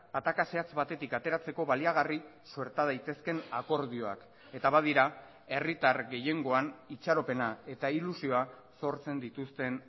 ataka zehatz batetik ateratzeko baliagarri suerta daitezkeen akordioak eta badira herritar gehiengoan itxaropena eta ilusioa sortzen dituzten